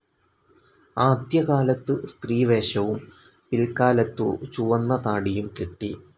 ആദ്യകാലത്ത് സ്ത്രീവേഷവും പില്ക്കാലത്തു ചുവന്ന താടിയും കെട്ടി.